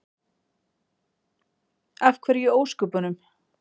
Af hverju í ósköpunum?